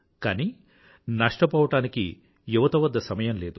కానీ నష్టపోవడానికి యువత వద్ద సమయం లేదు